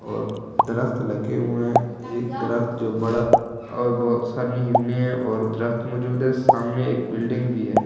और दरख़्त लगे हुए एक दरख़्त जो बड़ा और बहुत सारी हिरणे और दरख़्त मौजूद है सामने एक बिल्डिंग भी है।